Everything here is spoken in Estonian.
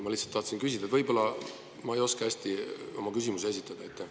Ma lihtsalt tahtsin seda küsida, sest võib-olla ma lihtsalt ei oska hästi küsimusi esitada.